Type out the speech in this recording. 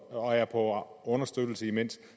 og er på understøttelse imens